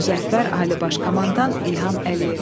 Müzəffər Ali Baş Komandan İlham Əliyev.